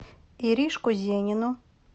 иришку зенину